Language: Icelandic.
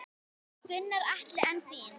Gunnar Atli: En þín?